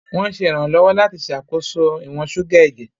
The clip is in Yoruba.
Wọ́n ń ṣe ìrànlọ́wọ́ láti ṣàkóso ìwọ̀n ṣúgà ẹ̀jẹ̀.